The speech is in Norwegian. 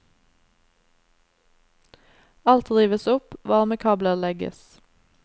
Alt rives opp, varmekabler legges.